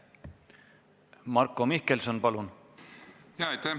Marko Mihkelson, palun!